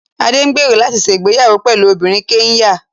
Adé ń gbèrò láti ṣe ìgbéyàwó pẹ̀lú obìnrin Kẹ́nyà